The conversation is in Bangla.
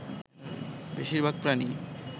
বেশির ভাগ প্রাণী